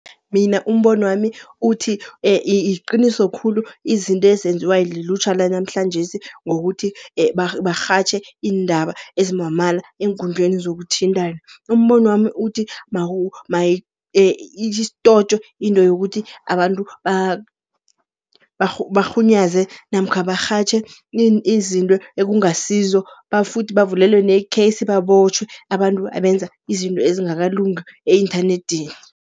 Mina umbonwami uthi, liqiniso khulu izinto ezenziwa lilutjha lanamhlanje, ngokuthi barhatjhe iindaba ezimamala eenkundleni zokuthintana. Umbono wami uthi istotjwe into yokuthi abantu barhunyeza namkha barhatjhe izinto ekungasizo, bafuthi bavulelwe nekhesi babotjhwe abantu abenza izinto ezingakalungi e-inthanedini.